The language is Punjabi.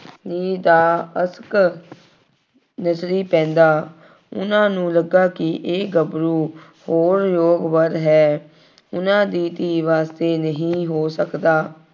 ਦਾ ਅਸ਼ਕ ਨਜ਼ਰੀ ਪੈਂਦਾ। ਉਹਨਾ ਨੂੰ ਲੱਗਾ ਕਿ ਇਹ ਗੱਭਰੂ ਹੋਰ ਯੋਗ ਵਰ ਹੈ, ਉਹਨਾ ਦੀ ਧੀ ਵਾਸਤੇ ਨਹੀਂ ਹੋ ਸਕਦਾ।